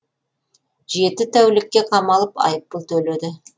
жеті тәулікке қамалып айыппұл төледі